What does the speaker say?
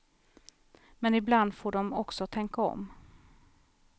Men ibland får de också tänka om.